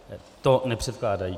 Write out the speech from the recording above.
To nepředkládají.